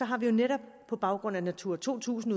har vi jo netop på baggrund af natura to tusind